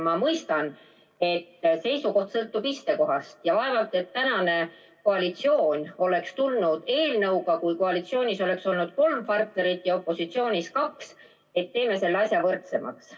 Ma mõistan, et seisukoht sõltub istekohast ja vaevalt et praegune koalitsioon oleks tulnud välja eelnõuga, kui koalitsioonis oleks olnud kolm partnerit ja opositsioonis kaks, et teeme selle asja võrdsemaks.